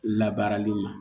Labaarali ma